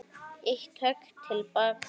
Eitt högg til baka.